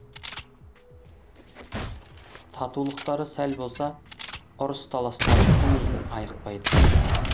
татулықтары сәл болса ұрыс таластары күн ұзын айықпайды